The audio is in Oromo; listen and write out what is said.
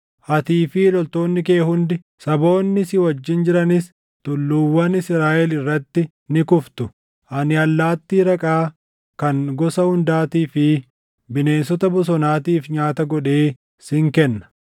Atii fi loltoonni kee hundi, saboonni si wajjin jiranis tulluuwwan Israaʼel irratti ni kuftu. Ani allaattii raqaa kan gosa hundaatii fi bineensota bosonaatiif nyaata godhee sin kenna.